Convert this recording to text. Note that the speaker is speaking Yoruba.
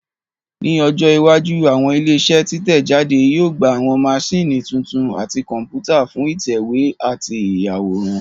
Ní ọjọ́ iwájú àwọn ilé iṣẹ́ títẹ̀ jáde yóò gba àwọn maṣíìnì tuntun àti Kọ̀m̀pútà fún ìtẹ̀wé àti ìyàwòrán